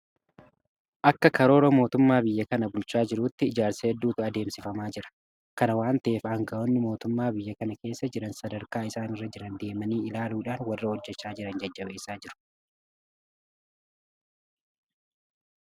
Akka karoora mootummaa biyya kana bulchaa jiruutti ijaarsa hedduutu adeemsifamaa jira. Kana waanta ta'eef aanga'oonni mootummaa biyya kana keessa jiran sadarkaa isaan irra jiran deemanii ilaaluudhaan warra hojjechaa jiran jajjabeessaa jiru.